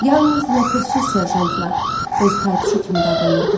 Yalnız ləpirçi serjantla öz taytuşu kimi davranırdı.